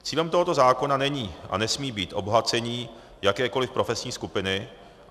Cílem tohoto zákona není a nesmí být obohacení jakékoliv profesní skupiny.